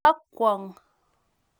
Bokwo kong